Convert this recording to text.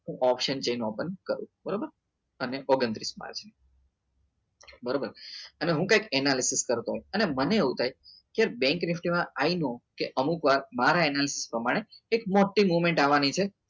OTM છે open કરો બરાબર અને ઓગન્તૃસ માં છે બરાબર અને હું ક્યાંક analysis કરતો અને મને એવું થાય કે બેન્ક નેટ માં આઈ નો કે અમુક વાર મારે analisis પ્રમાણે કે મોટી movement આવવાની છે